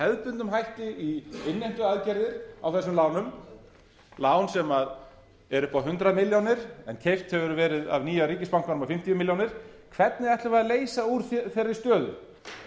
hefðbundnum hætti í innheimtuaðgerðir á þessum lánum lán sem eru upp á hundrað milljónir en keypt hefur verið af nýja ríkisbankanum á fimmtíu milljónir hvernig ætlum við að leysa úr þeirri stöðu